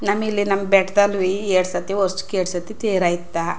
ನಮಿಲಿ ನಮ್ಮ್ ಬೆಟ್ಟದ್ಲವಿ ಎರಡ್ ಸತಿ ವರ್ಷಕ್ಕೆ ಎರಡ್ ಸತಿ ತೇರ್ ಆಯ್ತ್.